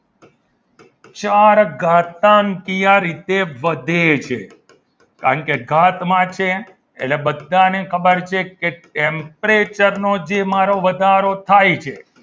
ચાર ઘાતાંકીય રીતે વધે છે કારણ કે ઘાતમાં છે એટલે બધાને ખબર છે કે temperature નો જેમાં વધારો થાય છે.